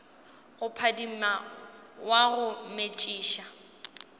go phadima wa go metšiša